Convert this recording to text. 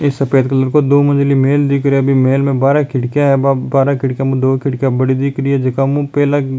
ये सफ़ेद कलर को दो मंजिली महल दिख रा है महल में बारह खिड़किया है बारह खिड़किया में दो बड़ी खिड़किया है जीका मुँह पहला --